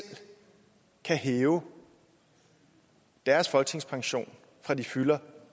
kan hæve deres folketingspension fra de fylder